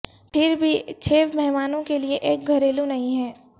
پھر بھی چھ مہمانوں کے لئے ایک گھریلو نہیں ہے